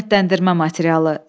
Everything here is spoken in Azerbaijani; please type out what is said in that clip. Qiymətləndirmə materialı.